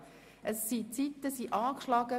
Die Zeiten sind beim Stempelgerät angeschlagen.